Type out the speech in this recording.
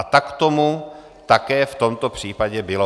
A tak tomu také v tomto případě bylo.